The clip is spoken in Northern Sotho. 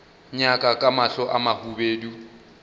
nyaka ka mahlo a mahubedu